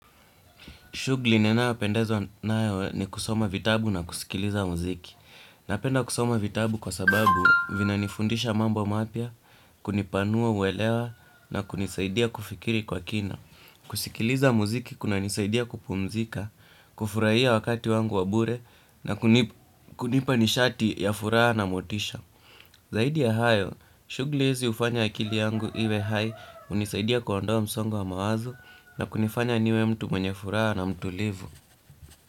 Shughli nenayo pendezwa nayo ni kusoma vitabu na kusikiliza muziki. Napenda kusoma vitabu kwa sababu vina nifundisha mambo mapya, kunipanua uelewa na kunisaidia kufikiri kwa kina. Kusikiliza muziki kuna nisaidia kupumzika, kufurahia wakati wangu wa bure na kunipa nishati ya furaha na motisha. Zaidi ya hayo, shughli hizi hufanya akili yangu iwe hai hunisaidia kuondoa msongo wa mawazo na kunifanya niwe mtu mwenye furaha na mtulivu.